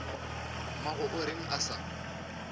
mmago o reng a sa